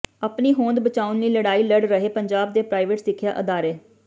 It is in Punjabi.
ਆਪਣੀ ਹੋਂਦ ਬਚਾਉਣ ਲਈ ਲੜਾਈ ਲੜ ਰਹੇ ਪੰਜਾਬ ਦੇ ਪ੍ਰਾਈਵੇਟ ਸਿੱਖਿਆ ਅਦਾਰੇ